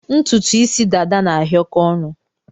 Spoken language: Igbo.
Ntụtụ isi dada na-ahịọkọ onu